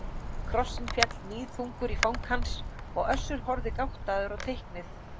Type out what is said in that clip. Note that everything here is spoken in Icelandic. Krossinn féll níðþungur í fang hans og Össur horfði gáttaður á teiknið.